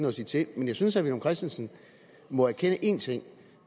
at sige til men jeg synes herre villum christensen må erkende én ting og